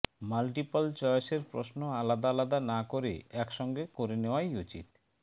multiple চয়েসের প্রশ্ন আলাদা আলাদা না করে একসঙ্গে করে নেওয়াই উচিত